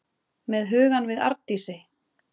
Með hugann við Arndísi.